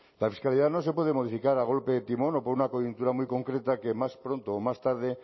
claro es que ahora ya no se puede modificar a golpe de timón o por una coyuntura muy concreta que más pronto o más tarde